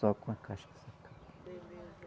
Só com a casca sacaca.